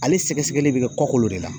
Ale sɛgɛsɛgɛli bɛ kɛ kɔkolo de la